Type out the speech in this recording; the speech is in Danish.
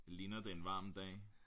Ligner det er en varm dag